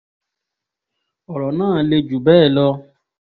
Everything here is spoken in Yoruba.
ọ̀rọ̀ náà le jù bẹ́ẹ̀ lọ o